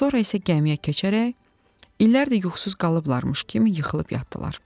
Sonra isə gəmiyə keçərək, illərdir yuxusuz qalıblarmış kimi yıxılıb yatdılar.